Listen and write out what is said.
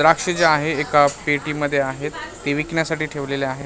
द्राक्ष जे आहेत एका पेटीमध्ये आहेत ते विकण्यासाठी ठेवलेले आहे .